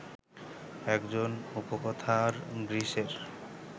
একজন উপকথার গ্রীসের